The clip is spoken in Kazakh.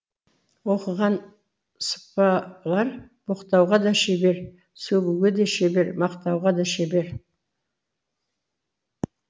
оқыған сыпалар боқтауға да шебер сөгуге де шебер мақтауға да шебер